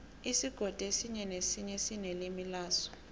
isigodi esinye nesinye sinelimi laso